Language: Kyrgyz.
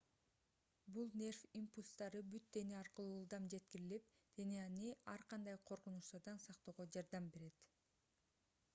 бул нерв импульстары бүт дене аркылуу ылдам жеткирилип денени ар кандай коркунучтардан сактоого жардам берет